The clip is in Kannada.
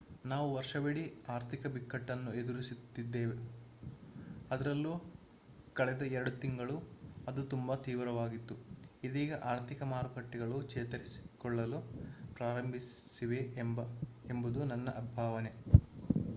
ನಾವು ವರ್ಷವಿಡೀ ಆರ್ಥಿಕ ಬಿಕ್ಕಟ್ಟನ್ನು ಎದುರಿಸಿದ್ದೆವು ಅದರಲ್ಲೂ ಕಳೆದ ಎರಡು ತಿಂಗಳು ಅದು ತುಂಬಾ ತೀವ್ರವಾಗಿತ್ತು ಇದೀಗ ಆರ್ಥಿಕ ಮಾರುಕಟ್ಟೆಗಳು ಚೇತರಿಸಿಕೊಳ್ಳಲು ಪ್ರಾರಂಭಿಸಿವೆ ಎಂಬುದು ನನ್ನ ಭಾವನೆ